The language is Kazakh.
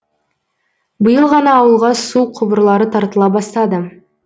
биыл ғана ауылға су құбырлары тартыла бастады